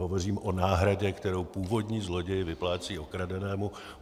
Hovořím o náhradě, kterou původní zloděj vyplácí okradenému.